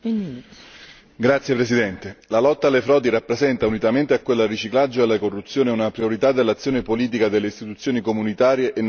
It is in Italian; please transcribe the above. Signora Presidente, onorevoli colleghi, la lotta alle frodi rappresenta, unitamente a quella al riciclaggio e alla corruzione, una priorità dell'azione politica delle istituzioni comunitarie e nazionali.